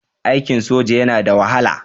Aikin soja yana da wahala.